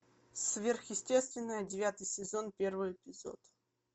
сверхъестественное девятый сезон первый эпизод